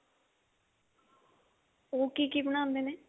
ਉਹ ਕੀ ਕੀ ਬਣਾਉਂਦੇ ਨੇ